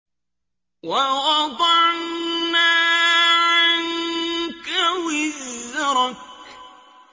وَوَضَعْنَا عَنكَ وِزْرَكَ